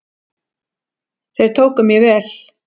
Þeir tóku mér vel.